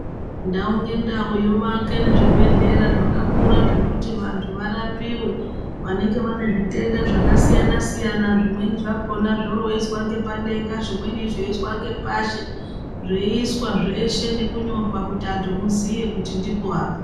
Ndau ngendau yovake zvibhedhlera zvakakura zvekuti vantu varapiwe vanenge vane zvitenda zvakasiyana-siyana zvimeni zvakona zvorooiswa ngepadenga zvimweni zveiiswa ngepashi, zveiiswa zveshe nekunyorwa kuti vantu muziye kuti ndipo apa.